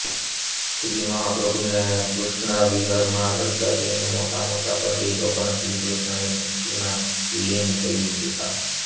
શ્રી મહાપ્રભુને કૃષ્ણ વિરહમાં રડતા જોઈને મોટામોટા પંડિતો પણ શ્રીકૃષ્ણની ભકિતમાં લીન થઈ જતાં